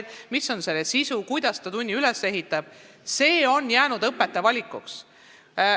Ka see, milline on tunni sisu, kuidas ta selle üles ehitab, on jäänud õpetaja valikuks.